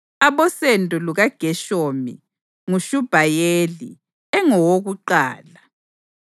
Abosendo lukaGeshomu: nguShubhayeli engowakuqala.